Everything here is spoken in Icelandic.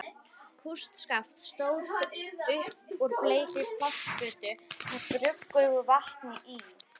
Kústskaft stóð upp úr bleikri plastfötu með gruggugu vatni í.